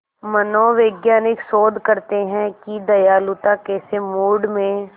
मनोवैज्ञानिक शोध करते हैं कि दयालुता कैसे मूड में